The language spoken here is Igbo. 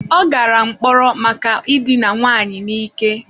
Ọ gara mkpọrọ maka idina nwaanyị na ike